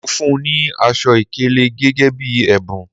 Mo fún ní aṣọ ìkélé gẹ́gẹ́ bí ẹ̀bùn